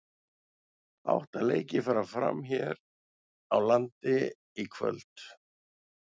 Átta leikir fara fram hér á landi í kvöld.